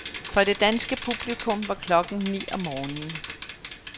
For det danske publikum var klokken ni om morgenen.